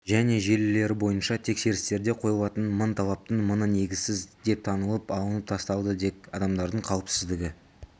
және желілері бойынша тексерістерде қойылатын мың талаптың мыңы негізсіз деп танылып алынып тасталды тек адамдардың қауіпсіздігі